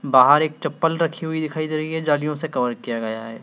बाहर एक चप्पल रखी हुई दिखाई दे रही है जालियों से कवर किया गया है।